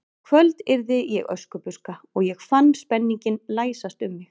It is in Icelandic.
En í kvöld yrði ég Öskubuska og ég fann spenninginn læsast um mig.